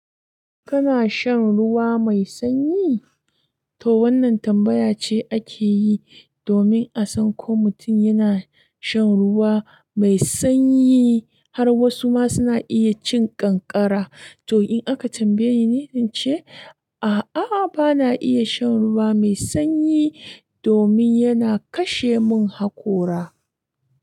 Kana shan ruwa mai sanyi? To wannan tambaya ce ake yi domin a san ko mutum yana shan ruwa mai sanyi, har wasu ma suna iya cin kankara. To in aka tambaye ni, in ce, a'a bana iya shan ruwa mai sanyi domin yana kashe mun hakora.